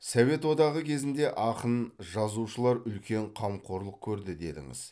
совет одағы кезінде ақын жазушылар үлкен қамқорлық көрді дедіңіз